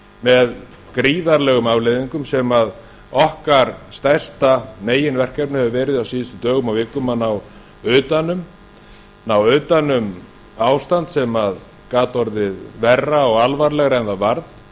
með gríðarlegum afleiðingum sem okkar stærsta meginverkefni hefur verið á síðustu dögum og vikum að ná utan um ástand sem gat orðið verra og alvarlegra en varð